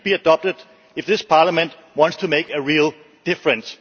It should therefore be adopted if this Parliament wants to make a real difference.